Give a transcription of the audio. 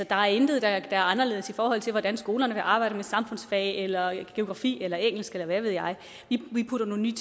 der er intet der er anderledes i forhold til hvordan skolerne vil arbejde med samfundsfag eller geografi eller engelsk eller hvad ved jeg vi putter nogle